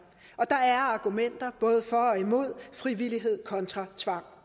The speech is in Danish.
der er argumenter både for og imod frivillighed kontra tvang